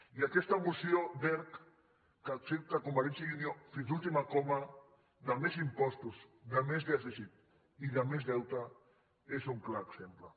i aquesta moció d’erc que accepta convergència i unió fins a l’última coma de més impostos de més dèficit i de més deute n’és un clar exemple